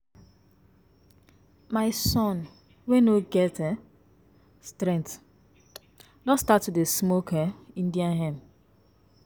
My son wey no get um strength don start to dey smoke um Indian hemp